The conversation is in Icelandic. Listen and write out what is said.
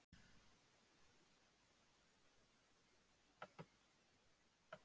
Hjördís: Hvenær heldurðu að fyrsti garðslátturinn geti orðið?